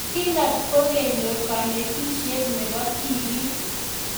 Gillard kokenyor kanetisiet nebo tibiik